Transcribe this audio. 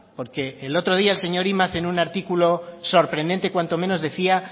porque el otro día el señor imaz en un artículo sorprendente cuanto menos decía